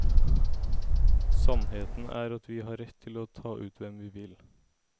Sannheten er at vi har rett til å ta ut hvem vi vil.